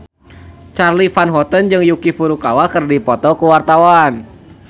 Charly Van Houten jeung Yuki Furukawa keur dipoto ku wartawan